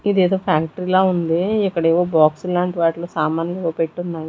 ఇదేదో ఫ్యాక్టరీ లా ఉంది ఇక్కడేవో బాక్సులాంటి వాటిలో సామన్లేవో పెట్టున్నా--